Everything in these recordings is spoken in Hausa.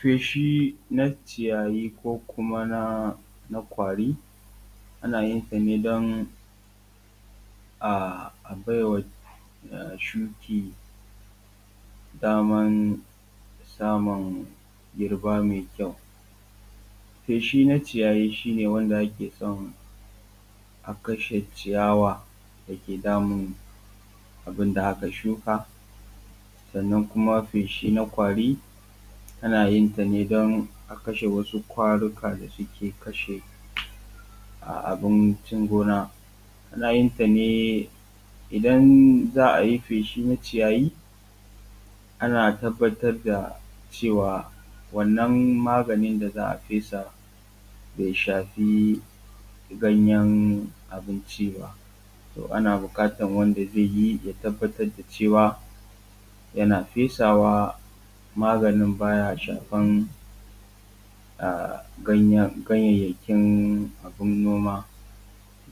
Feshi na ciyayi ko kuma na ƙwari ana yin ta ne don a baiwa shuki daman samu girba mai kyau. Feshi na ciyayi shi ne wanda ake so a kashe ciyawa da ke damun abinda aka shuka. Sannan kuma feshi na ƙwari ana yin ta ne don a kashe wasu ƙwaruka da suke kashe abincin gona. Ana yin tane idan za a yi feshi na ciyayi ana tabbatar da cewa wannan maganin da za a fesa bai shafi ganyan abinci ba. To ana buƙatan wanda zai yi ya tabbatar da cewa yana fesawa magani baya shafan ganyayyakin abin noma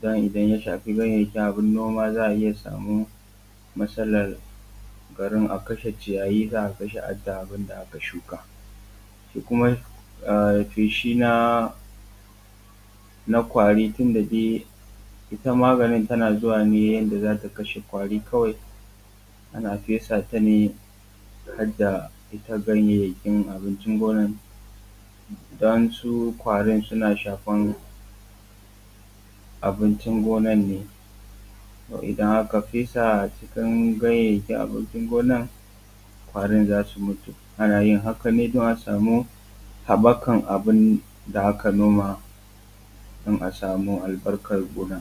don idan ya shafi ganyayakin abin noma za a iya samun matsalan garin a kashe ciyayi za a kashe harta abin da aka shuka. Shi kuma feshi na ƙwari tunda dai ita maganin tana zuwa ne yanda za ta kashe ƙwari kawai, ana fesa ta ne harda ita ganyayyakin abinci gona don su ƙwarin suna shafan abincin gona ne. To idan aka fesa cikin ganyayakin abincin gona to ƙwarin za su mutu. Ana yin haka ne don a samu haɓɓakan abin da aka noma don a samu albarkar gona.